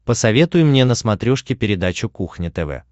посоветуй мне на смотрешке передачу кухня тв